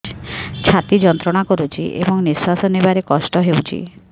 ଛାତି ଯନ୍ତ୍ରଣା କରୁଛି ଏବଂ ନିଶ୍ୱାସ ନେବାରେ କଷ୍ଟ ହେଉଛି